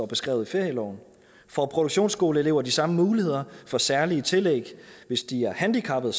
beskrevet i ferieloven får produktionsskoleelever de samme muligheder for særlige tillæg hvis de er handicappede